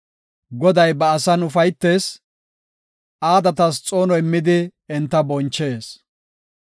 Goday ba asan ufaytees; aadatas xoono immidi enta bonchees.